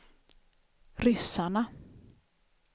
ryssarna